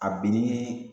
A binni